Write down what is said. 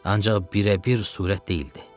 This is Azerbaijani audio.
Ancaq birə-bir surət deyildi.